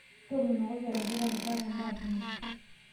Toomonokoki olairitani, kaata imbaa kumok.